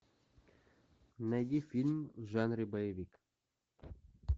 найди фильм в жанре боевик